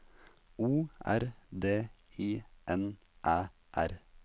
O R D I N Æ R